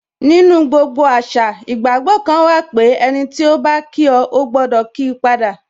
Nínú gbogbo àṣà, ìgbàgbọ́ kan wà pé, ẹniti o ba kí o, o gbọdọ kii pada